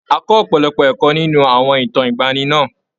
A kọ́ ọ̀pọ̀lọpọ̀ ẹ̀kọ́ nínú àwọn ìtàn ìgbaanì náà.